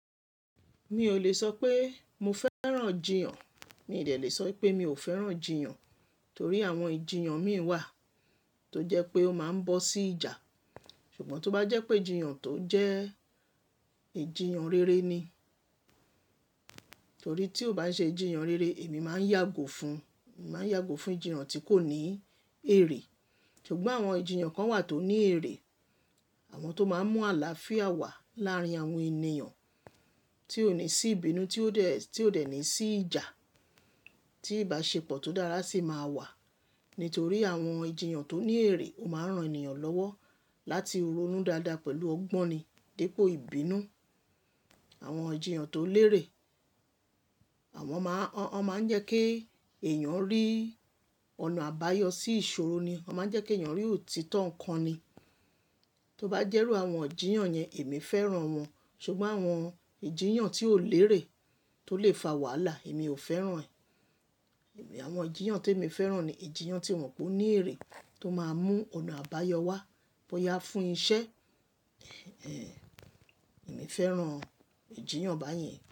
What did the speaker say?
Mi ò lè sọ pé mo fẹ́ràn jíyàn. Mi ò dè le sọ pé mi ò fẹ́ràn jíyàn, torí àwọn ìjiyàn mí wà tó jẹ́ pé ó máa ń bọ́ sí ìjà. Ṣùgbọ́n tó bá jẹ́ pé jíyàn tó jẹ́ ìjiyàn rere ni, torí tí ó bá ṣe jíyàn rere, èmi máa ń yàgò fún, máa ń yàgò fún jíyàn tí kò ní èrè. Ṣùgbọ́n àwọn ìjiyàn kan wà tó ní èrè, àwọn tó máa ń mú àlàáfíà wá láàárín àwọn ènìyàn, tí ó ní sí ìbínú, tí ó dẹ̀, tí ó dẹ̀ ní sí ìjà, tí ìbáṣepọ̀ tó dára sì máa wà. Nítorí àwọn ìjiyàn tó ní èrè, ó máa ń ran ènìyàn lọ́wọ́ láti ronú dáadáa pẹ̀lú ọgbọ́n ni dípò ìbínú. Àwọn ìjiyàn tó lérè, àwọn máa ń, wọn máa ń jẹ́ kí èèyàn rí ọ̀nà àbáyọ sí ìṣòro ni. Wọ́n máa ń jẹ́ kí èèyàn rí òtítọ́ nǹkan ni. Tó bá jẹ́ru àwọn ijíyàn yẹn, èmi fẹ́ràn wọn. Ṣùgbọ́n àwọn ìjiyàn tí ó lérè tó lè fa wàhálà, èmi ò fẹ́ràn ẹ̀. Ẹ̀h, àwọn ijíyàn tí èmi fẹ́ràn ni ìjiyàn tí mo mo pe o ní èrè, tó máa mú ọ̀nà àbáyọ wá, bóyá fún iṣẹ́, ẹhen, èmi fẹ́ràn ìjiyàn báyìí.